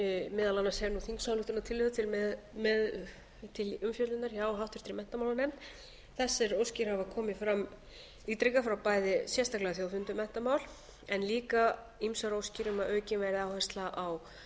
meðal annars er nú þingsályktunartillaga um til umfjöllunar hjá háttvirtum menntamálanefnd þessar óskir hafa komið fram ítrekað frá bæði sérstaklega þjóðfundi um menntamál en líka ýmsar óskir um að aukin verði áhersla á